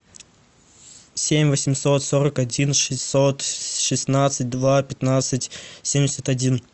семь восемьсот сорок один шестьсот шестнадцать два пятнадцать семьдесят один